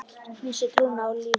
Missti trúna á lífið.